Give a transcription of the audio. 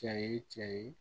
Cɛ ye cɛ ye